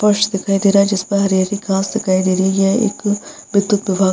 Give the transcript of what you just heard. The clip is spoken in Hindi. फर्श दिखाई दे रहा है जिस पर हरी-हरी घास दिखाई दे रही है एक विद्युत विभाग --